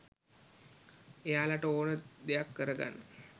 එයාලට ඕනේ දෙයක් කරගන්න